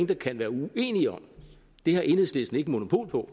der kan være uenige om det har enhedslisten ikke monopol på